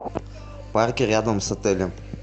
парки рядом с отелем